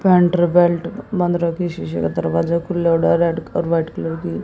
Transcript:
बंद रखी शीशे का दरवाजा खुला है। रेड और व्हाईट कलर की।